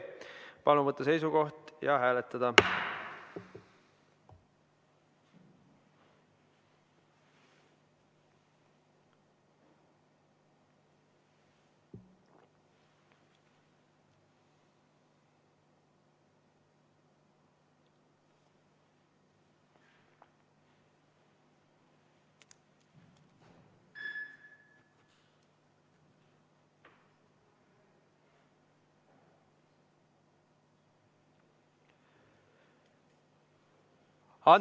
Palun võtta seisukoht ja hääletada!